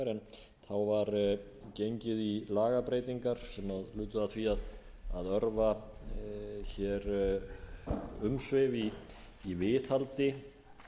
en þá var gengið í lagabreytingar sem lutu að því að örva hér umsvif í viðhaldi